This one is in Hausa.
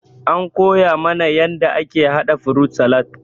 An koya mana yanda ake haɗa frut salat.